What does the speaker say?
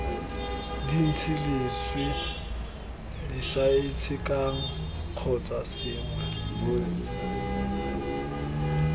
dintsi leswe disaitshekang kgotsa sengwe